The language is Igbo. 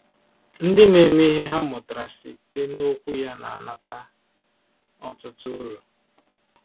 Ndị na-eme ihe ha mụtara site n’Okwu Ya na-anata ọtụtụ uru.